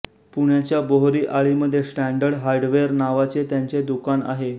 पुण्याच्या बोहरी आळीमध्ये स्टॅन्डर्ड हार्डवेर नावाचे त्यांचे दुकान आहे